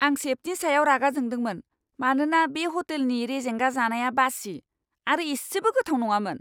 आं सेफनि सायाव रागा जोंदोंमोन, मानोना बे ह'टेलनि रेजेंगा जानाया बासि आरो इसेबो गोथाव नङामोन!